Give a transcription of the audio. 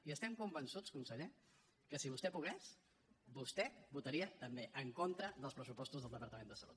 i estem convençuts conseller que si vostè pogués vostè votaria també en contra dels pressupostos del departament de salut